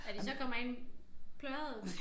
Når de så kommer ind plørede